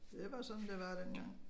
Det var sådan det var dengang